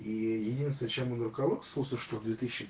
единственное чем он руководствовался что в две тысячи